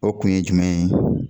O kun ye jumɛn ye.